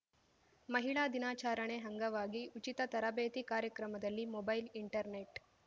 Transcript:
ಮಹಿಳಾ ದಿನಾಚಾರಣೆ ಅಂಗವಾಗಿ ಉಚಿತ ತರಬೇತಿ ಕಾರ್ಯಕ್ರಮದಲ್ಲಿ ಮೊಬೈಲ್ ಇಂಟರ್‌ನೆಟ್